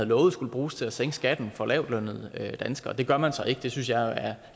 lovet skulle bruges til at sænke skatten for lavtlønnede danskere og det gør man så ikke det synes jeg er at